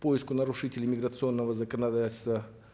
поиску нарушителей миграционного законодательства